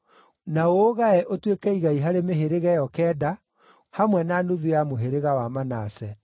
na ũũgae ũtuĩke igai harĩ mĩhĩrĩga ĩyo kenda, hamwe na nuthu ya mũhĩrĩga wa Manase.”